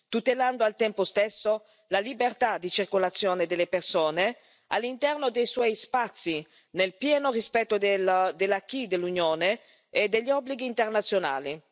tutelando al tempo stesso la libertà di circolazione delle persone all'interno dei suoi spazi, nel pieno rispetto dell'acquis dell'Unione e degli obblighi internazionali.